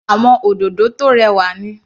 Àwọn òdòdó tó rẹwà ni.